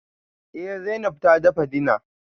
Eh Zainab ta dafa dinner